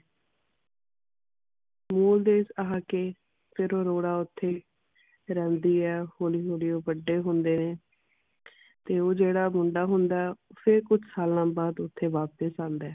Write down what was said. ਮੂਲ ਦੇਸ਼ ਆ ਕੇ ਫਿਰ ਅਰੋੜਾ ਓਥੇ ਰਹਿੰਦੀ ਹੈ ਹੌਲੀ ਹੌਲੀ ਓ ਵੱਡੇ ਹੁੰਦੇ ਨੇ ਤੇ ਉਹ ਜਿਹੜਾ ਮੁੰਡਾ ਹੁੰਦਾ ਹੈ ਫਿਰ ਕੁਝ ਸਾਲਾਂ ਬਾਦ ਓਥੇ ਵਾਪਸ ਆਉਂਦਾ ਹੈ